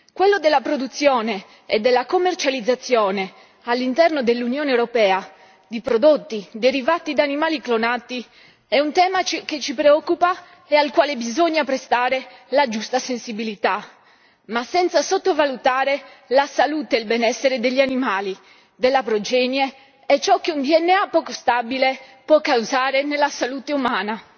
Quello della produzione e della commercializzazione all'interno dell'Unione europea di prodotti derivati da animali clonati è un tema che ci preoccupa e al quale bisogna prestare la giusta sensibilità, ma senza sottovalutare la salute e il benessere degli animali, della progenie e ciò che un DNA poco stabile può causare nella salute umana.